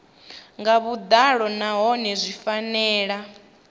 nga vhuḓalo nahone zwi fanela